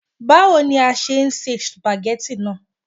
Báwo ni a ṣe se sùpàgẹ́tì náà